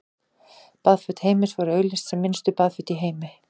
Baðföt Heims voru auglýst sem minnstu baðföt í heimi.